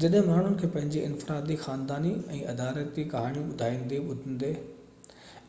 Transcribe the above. جڏهن ماڻهن کي پنهنجي انفرادي خانداني ۽ ادارياتي ڪهاڻيون ٻڌائيندي ٻڌندي